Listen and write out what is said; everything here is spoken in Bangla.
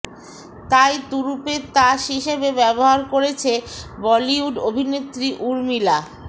তাই তুরুপের তাস হিসেবে ব্যবহার করেছে বলিউড অভিনেত্রী ঊর্মিলা